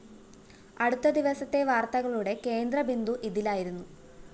അടുത്ത ദിവസത്തെ വാര്‍ത്തകളുടെ കേന്ദ്രബിന്ദു ഇതിലായിരുന്നു